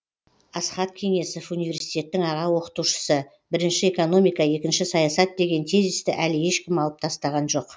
асхат кеңесов университеттің аға оқытушысы бірінші экономика екінші саясат деген тезисті әлі ешкім алып тастаған жоқ